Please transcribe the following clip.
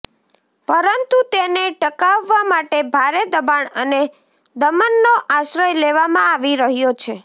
પરંતુ તેને ટકાવવા માટે ભારે દબાણ અને દમનનો આશ્રય લેવામાં આવી રહ્યો છે